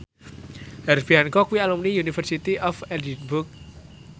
Herbie Hancock kuwi alumni University of Edinburgh